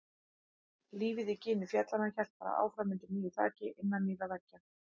Lífið í gini fjallanna hélt bara áfram undir nýju þaki, innan nýrra veggja.